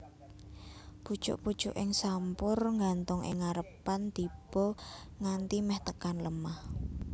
Pucuk pucuking sampur nggantung ing ngarepan tiba nganti meh tekan lemah